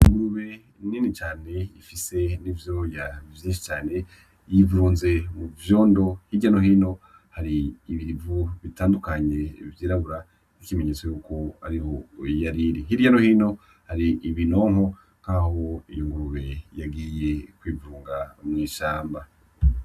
Ingurube nini cane ifise n'ivyoya vyinshi cane yirunze mu vyondo, hirya no hino ibivu vyirabura bitandukanye nk'ikimenyetso yuko ariho yariri, hirya hari ibinonko nkaho iyo ngurube yagiye kwivunga mw'ishamba.